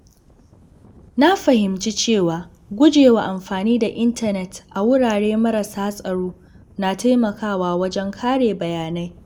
Na fahimci cewa gujewa amfani da intanet a wurare marasa tsaro na taimakawa wajen kare bayanai.